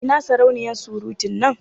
Ina sarauniya surutun nan?